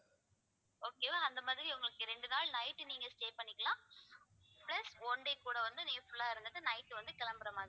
okay வா அந்த மாதிரி உங்களுக்கு இரண்டு நாள் night நீங்க stay பண்ணிக்கலாம் plus one day கூட வந்து நீங்க full ஆ இருந்துட்டு night வந்து கிளம்பற மாதிரி